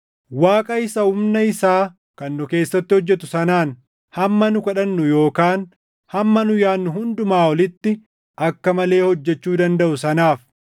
Waaqa isa humna isaa kan nu keessatti hojjetu sanaan hamma nu kadhannu yookaan hamma nu yaadnu hundumaa olitti akka malee hojjechuu dandaʼu sanaaf,